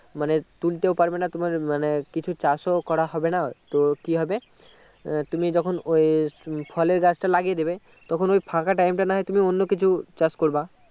মানে তুলতেও পারবানা মানে তোমার কিছু কিছু চাষও করা হবে না তো কি হবে আহ তুমি যখন ওই ফলের গাছটা লাগিয়ে দিবে তখন ওই ফাঁকা time টা না হয় তুমি অন্য কিছু চাষ করবা